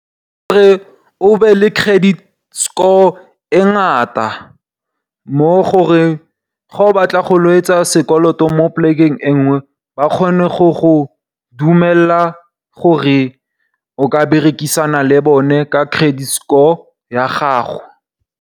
Go re o be le credit score e ngata gore ga o batla go etsa sekoloto mo plekeng enngwe ba kgone go go dumelela gore o berekisane le bone ka credit score ya gago.